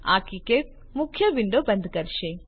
આ કીકેડ મુખ્ય વિન્ડો બંધ કરશે